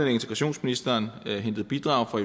og integrationsministeren indhentet bidrag fra